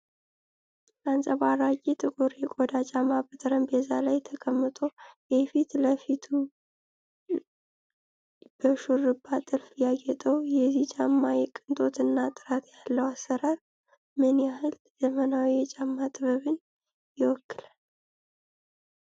አንጸባራቂ ጥቁር የቆዳ ጫማ በጠረጴዛ ላይ ተቀምጦ፣ የፊት ለፊቱ በሹርባ ጥልፍ ያጌጠው፣ የዚህ ጫማ የቅንጦት እና ጥራት ያለው አሰራር ምን ያህል ዘመናዊ የጫማ ጥበብን ይወክላል?